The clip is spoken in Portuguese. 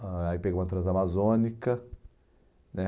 Aí pegamos a Transamazônica, né?